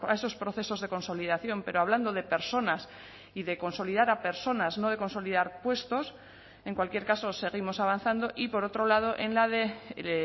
esos procesos de consolidación pero hablando de personas y de consolidar a personas no de consolidar puestos en cualquier caso seguimos avanzando y por otro lado en la de